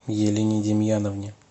елене демьяновне